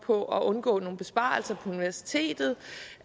på at undgå nogle besparelser på universitetet